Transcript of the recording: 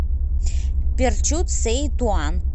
перчут сеи туан